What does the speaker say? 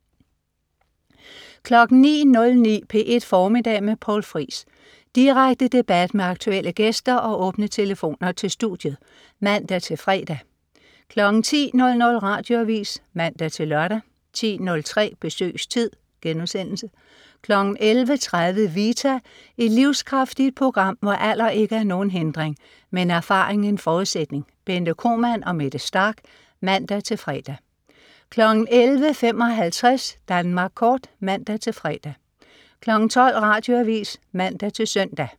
09.09 P1 Formiddag med Poul Friis. Direkte debat med aktuelle gæster og åbne telefoner til studiet (man-fre) 10.00 Radioavis (man-lør) 10.03 Besøgstid* 11.30 Vita. Et livskraftigt program, hvor alder ikke er nogen hindring, men erfaring en forudsætning. Bente Kromann og Mette Starch (man-fre) 11.55 Danmark Kort (man-fre) 12.00 Radioavis (man-søn)